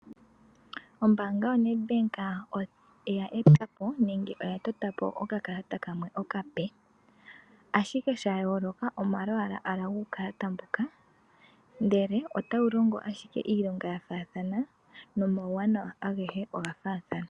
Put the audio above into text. Ombanga yo Nedbank oya etapo nenge oya totapo oka kalata kamwe okape ashike shayoloka omalwala gukalata mboka ndele ota wu longo ashike iilonga yafathana noma wuwanawa angehe ongafathana.